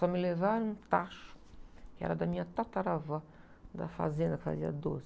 Só me levaram um tacho, que era da minha tataravó, da fazenda que fazia doce.